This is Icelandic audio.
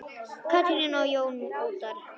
Katrín og Jón Óttarr.